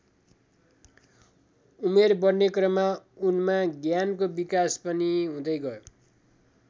उमेर बढ्ने क्रममा उनमा ज्ञानको विकास पनि हुदै गयो।